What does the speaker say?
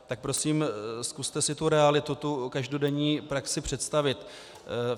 Tak prosím, zkuste si tu realitu, tu každodenní praxi představit.